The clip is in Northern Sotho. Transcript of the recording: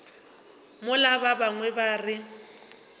mola ba bangwe ba re